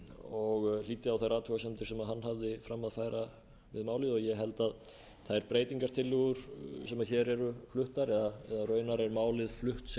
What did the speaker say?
og hlýddi á þær athugasemdir sem hann hafði fram að færa við málið ég held að þær breytingartillögur sem hér eru fluttar eða